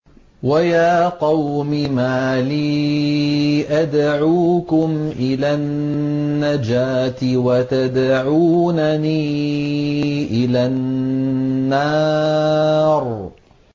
۞ وَيَا قَوْمِ مَا لِي أَدْعُوكُمْ إِلَى النَّجَاةِ وَتَدْعُونَنِي إِلَى النَّارِ